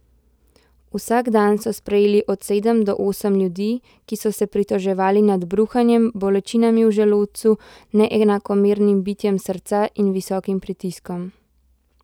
Vsak dan so sprejeli od sedem do osem ljudi, ki so se pritoževali nad bruhanjem, bolečinami v želodcu, neenakomernim bitjem srca in visokim pritiskom.